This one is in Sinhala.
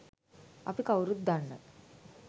අපි කව්රුත් දන්න